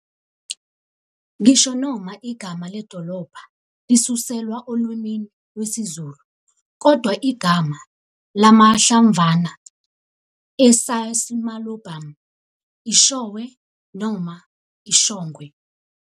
Ngisho noma igama le dolobha lisuselwa olwimini lwesiZulu kodwa yigama lamahlamvana e-"Xysmalobium", i"showe" noma "ishongwe".